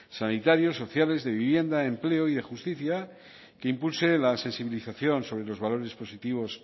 sanitarios sociales de vivienda empleo y de justicia que impulse la sensibilización sobre los valores positivos